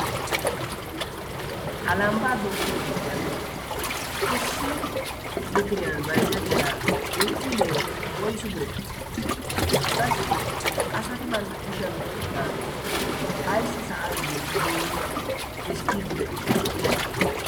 ha lambbaa dooqqiyo sohuwan issi litiriyan baizettiya binziilee woisu bire qassi asati bantta kushiyal oiqqidaageeti issi sa'an zin'idi xiskkiiddi de'iyoona?